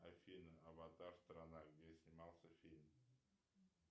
афина аватар страна где снимался фильм